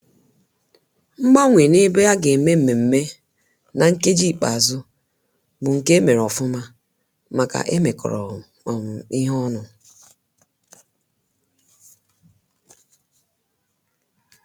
Mgbanwe na ebe aga eme mmemme na nkeji ikpeazụ bu nke emere ofụma maka e mekọrọ um ihe ọnụ